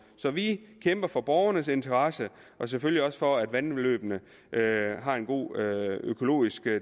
så vi kæmper for borgernes interesser og selvfølgelig også for at vandløbene har har en god økologisk